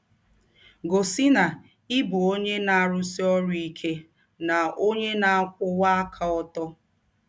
Gọsi na ị bụ ọnye na - arụsi ọrụ ike na ọnye na - akwụwa aka ọtọ.